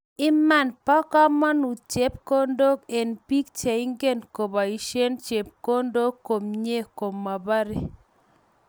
Iman bo kamanut chepkondok, eng biik cheingen kobaishie chepkondok komnyei kobare